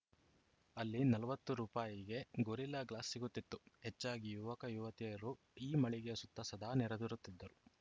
ಅಲ್ಲಿ ನಲವತ್ತು ರುಪಾಯಿಗೆ ಗೊರಿಲ್ಲಾ ಗ್ಲಾಸ್‌ ಸಿಗುತ್ತಿತ್ತು ಹೆಚ್ಚಾಗಿ ಯುವಕ ಯುವತಿಯರು ಈ ಮಳಿಗೆಯ ಸುತ್ತ ಸದಾ ನೆರೆದಿರುತ್ತಿದ್ದರು